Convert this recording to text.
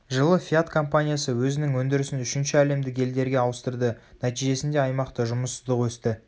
жылы фиат компаниясы өзінің өндірісін үшінші әлемдік елдерге ауыстырды нәтижесінде аймақта жұмыссыздық өсті